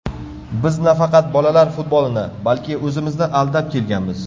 Biz nafaqat bolalar futbolini, balki o‘zimizni aldab kelganmiz.